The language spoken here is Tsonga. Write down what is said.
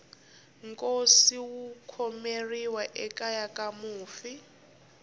nkosi wu khomeriwa ekeya ka mufi